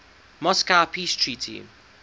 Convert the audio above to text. moscow peace treaty